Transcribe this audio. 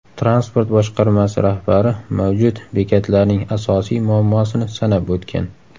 Transport boshqarmasi rahbari mavjud bekatlarning asosiy muammosini sanab o‘tgan.